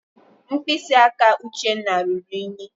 Mkpịsị aka Uchenna ruru ùnyí.